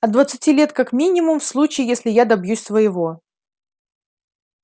от двадцати лет как минимум в случае если я добьюсь своего